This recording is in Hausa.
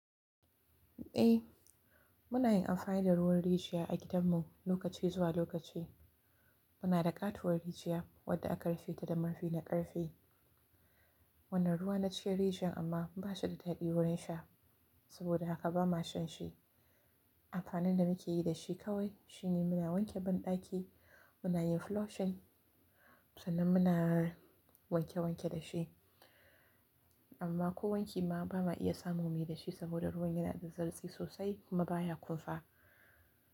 Eh, muna yin amfani da ruwan rijiya a gidan mu lokaci zuwa lokaci. Muna da ƙatuwar rijiya wadda aka rufe ta da marfi na ƙarfe. Wannan ruwa na cikin rijiyan amma ba shi da daɗi wurin sha, saboda haka ba ma shan shi. Amfanin da muke yi da shi kawai shine muna wanke banɗaki, muna yin floshin, sannan muna wanke wanke da shi. Amma ko wanki ma ba ma iya samu muyi da shi saboda ruwan yana da zartsi sosai kuma baya kumfa.